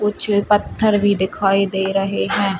कुछ पत्थर भी दिखाई दे रहे हैं।